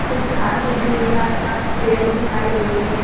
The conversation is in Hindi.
कुछ घांस उगी हुई है। आस-पास पेड़ दिखाई दे रहे हैं।